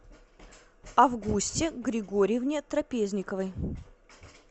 августе григорьевне трапезниковой